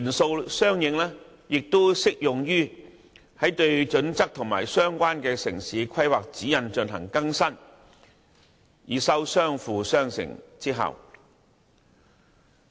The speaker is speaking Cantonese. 這些元素適用於對《規劃標準》和《指引》進行相應更新，以收相輔相成之效。